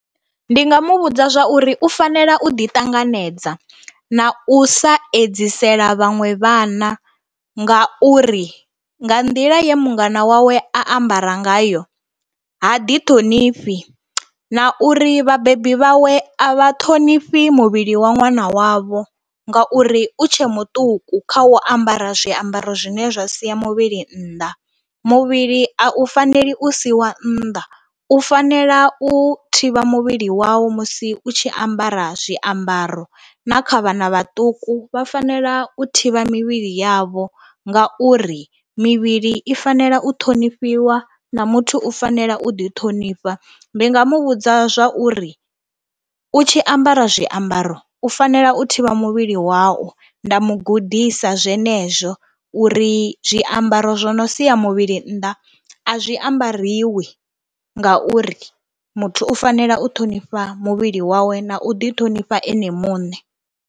Ndi nga mu vhudza zwa uri u fanela u ḓiṱanganedza na u sa edzisela vhaṅwe vhana ngauri nga nḓila ye mungana wawe a ambara ngayo ha ḓithonifhi na uri vhabebi vhawe a vha ṱhonifhi muvhili wa ṅwana wavho ngauri u tshe muṱuku kha u ambara zwiambaro zwine zwa sia muvhili nnḓa. Muvhili a u faneli u siiwa nnḓa, u fanela u thivha muvhili wau musi u tshi ambara zwiambaro na kha vhana vhaṱuku vha fanela u thivha mivhili yavho ngauri mivhili i fanela u ṱhonifhiwa na muthu u fanela u ḓiṱhonifha. Ndi nga mu vhudza zwa uri u tshi ambara zwiambaro u fanela u thivha muvhili wau, nda mu gudisa zwenezwo uri zwiambaro zwo no sia muvhili nnḓa a zwi ambariwi ngauri muthu u fanela u ṱhonifha muvhili wawe na u ḓiṱhonifha ene muṋe.